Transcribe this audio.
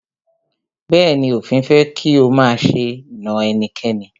Bẹ̀ẹ́ni, òfin fẹ́ kí o máṣe na ẹnikẹ́ni.